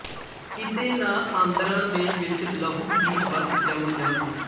ਕਿਤੇ ਨਾ ਆਂਦਰਾਂ ਦੇ ਵਿੱਚ ਲਹੂ ਦੀ ਬਰਫ ਜੰਮ ਜਾਵੇ